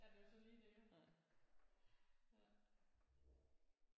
Ja det er jo så lige jo ja